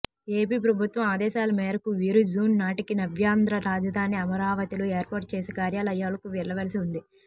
AP ప్రభుత్వం ఆదేశాల మేరకు వీరు జూన్ నాటికి నవ్యాంధ్ర రాజధాని అమరావతిలో ఏర్పాటు చేసే కార్యాలయాల్లోకి వెళ్లవలసి ఉంది